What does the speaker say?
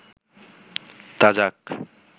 তা যাক